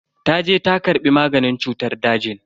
Taje ta karbi maganin cutar dajin.